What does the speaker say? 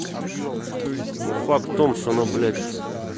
но факт в том что она блять